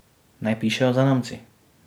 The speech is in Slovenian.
Naj pišejo zanamci.